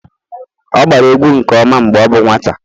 ọ agbara egwu nke ọma mgbe ọ bụ nwata